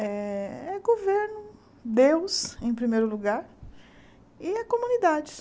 É governo, Deus em primeiro lugar e a comunidade.